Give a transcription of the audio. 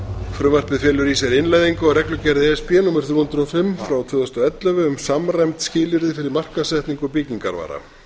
frumvarpið felur í sér innleiðingu á reglugerð e s b númer þrjú hundruð og fimm frá tvö þúsund og ellefu um samræmd skilyrði fyrir markaðssetningu byggingarvara